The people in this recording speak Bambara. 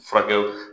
Furakɛliw